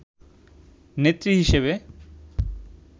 নেত্রী হিসেবে